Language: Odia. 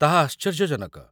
ତାହା ଆଶ୍ଚର୍ଯ୍ୟଜନକ!